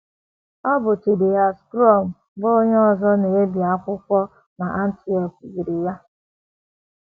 Ọ bụ Chidihias Crom, bụ́ onye ọzọ na - ebi akwụkwọ n’Antwerp, biri ya.